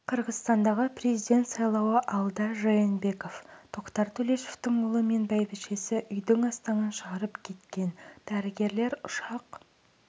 қырғызстандағы президент сайлауы алда жээнбеков тоқтар төлешовтың ұлы мен бәйбішесі үйдің астаң-кестеңін шығарып кеткен дәрігерлер ұшақ